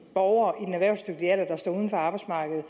borgere erhvervsdygtige alder der står uden for arbejdsmarkedet